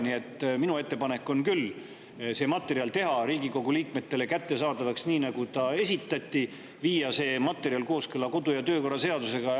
Nii et minu ettepanek on küll see materjal teha Riigikogu liikmetele kättesaadavaks sellisena, nagu see esitati, ning viia see materjal kooskõlla kodu- ja töökorra seadusega.